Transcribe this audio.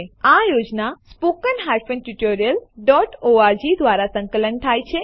આ યોજના httpspoken tutorialorg દ્વારા સંકલન થાય છે